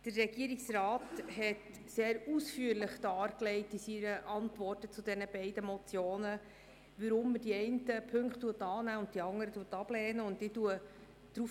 Der Regierungsrat hat in seiner Antwort zu den beiden Motionen sehr ausführlich dargelegt, weshalb er die einen Punkte annimmt und die anderen ablehnt.